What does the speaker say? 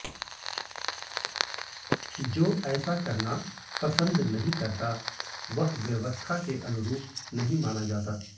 जो ऐसा करना पसंद नहीं करता वह व्यवस्था के अनुरूप नहीं माना जाता